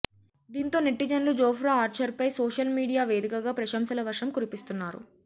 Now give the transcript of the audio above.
దీంతో నెటిజన్లు జోఫ్రా ఆర్చర్పై సోషల్ మీడియా వేదికగా ప్రశంసల వర్షం కురిపిస్తున్నారు